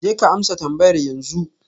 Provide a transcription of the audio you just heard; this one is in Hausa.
Jeka amsa tambayar yanzu